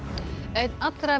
einn allra